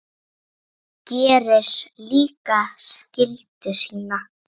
Gerir líka skyldu sína.